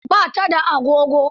Ba ta da agogo.